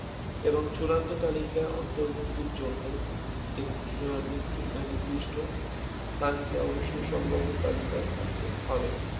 এবং চূড়ান্ত তালিকা অন্তর্ভুক্তির জন্য এক আহ নি~ নিদিষ্ট স্থানকে অবশ্যই সম্ভাব্য তালিকায় থাকতে হবে